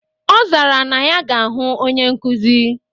Ọ zara na ya ga-ahụ onye nkuzi.